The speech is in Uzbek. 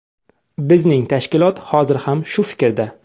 Bizning tashkilot hozir ham shu fikrda.